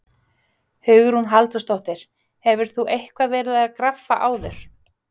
Hugrún Halldórsdóttir: Hefur þú eitthvað verið að graffa áður?